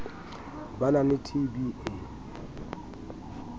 ba na le tb e